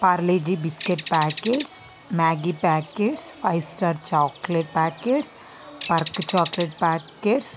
Parle-G biscuit packets Maggi packets five star chocolate packets Perk chocolate packets --